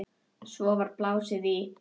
Svo var blásið í.